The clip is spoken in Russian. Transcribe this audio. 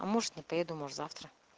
а может не поеду может завтра